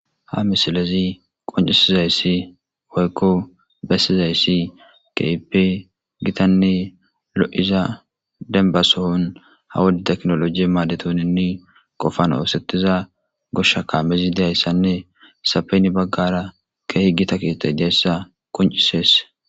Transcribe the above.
ha misilezi qoncisizayssi woykko bessizayssi keipe gitanne lo7iza denbasohon ha wodi teknoloji maadetoninni qofan oosetiza goshsha kaamezi deyayssanne sapeni baggara keehi gita kiitay deessa qoncisees